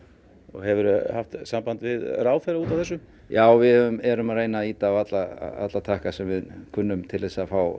hefur þú haft samband við ráðherra út af þessu já við erum að reyna að ýta á alla alla takka sem við kunnum til þess að fá